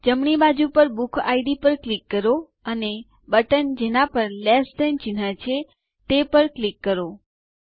જમણી બાજુ પર બુકિડ પર ક્લિક કરો અને બટન જેના ઉપર લેસ થાન ચિહ્ન છે તે પર ક્લિક કરો